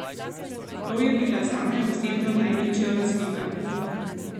To je bila zame osebno največja razlika.